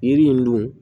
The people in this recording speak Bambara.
Yiri in dun